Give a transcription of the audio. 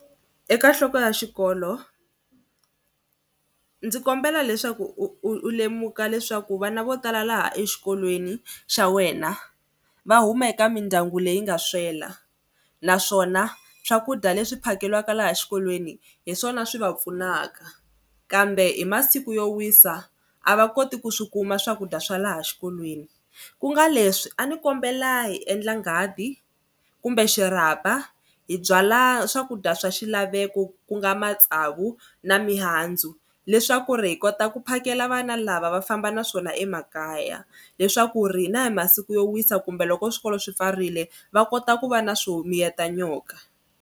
Eka nhloko ya xikolo ndzi kombela leswaku u u lemuka leswaku vana vo tala laha exikolweni xa wena va huma eka mindyangu leyi nga swela naswona swakudya leswi phakelaka laha xikolweni hi swona swi va pfunaka kambe hi masiku yo wisa a va koti ku swi kuma swakudya swa laha xikolweni ku nga leswi a ni kombela hi endla nghadi kumbe xirapha hi byala swakudya swa xilaveko ku nga matsavu na mihandzu leswaku ri hi kota ku phakela vana lava va famba na swona emakaya leswaku ri na hi masiku yo wisa kumbe loko swikolo swi pfarile va kota ku va na swo miyeta nyoka.